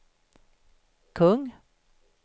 kung